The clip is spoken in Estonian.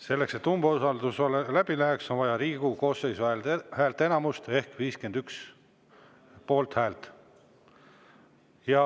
Selleks, et umbusaldus läbi läheks, on vaja Riigikogu koosseisu häälteenamust ehk 51 poolthäält.